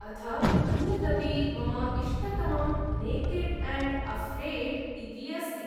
अथ अन्यदपि मम इष्टतमं नेकेड् एण्ड् अफ़्रेड् इति अस्ति।